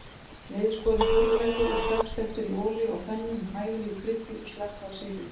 Niðurskorinn púrrulaukur er snöggsteiktur í olíu á pönnu, með hæfilegu kryddi og slatta af sykri.